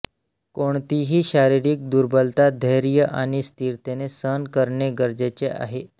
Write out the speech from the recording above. कोणतीही शारीरिक दुर्बलता धैर्य आणि स्थिरतेने सहन करणे गरजेचे आहे